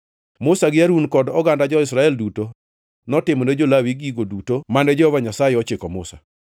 Musa gi Harun kod oganda jo-Israel duto notimone jo-Lawi gigo duto mane Jehova Nyasaye ochiko Musa.